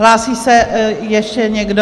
Hlásí se ještě někdo?